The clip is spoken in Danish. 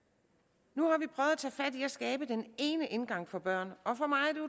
nu i at skabe den ene indgang for børn og for mig